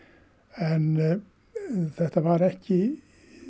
en þetta var ekki